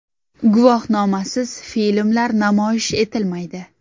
Guvohnomasiz filmlar namoyish etilmaydi.